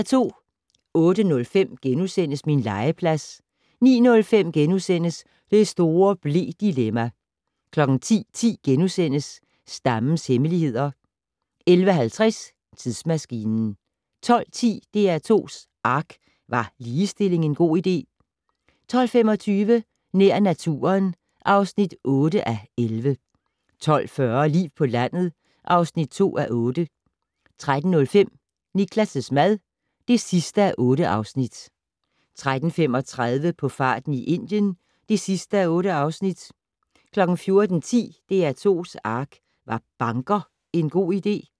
08:05: Min legeplads * 09:05: Det store ble-dilemma! * 10:10: Stammens hemmeligheder * 11:50: Tidsmaskinen 12:10: DR2's ARK - Var ligestilling en god idé? 12:25: Nær naturen (8:11) 12:40: Liv på landet (2:8) 13:05: Niklas' mad (8:8) 13:35: På farten i Indien (8:8) 14:10: DR2's ARK - Var banker en god idé?